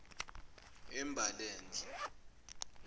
embalenhle